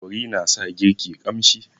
Kori na sa girki ƙamshi.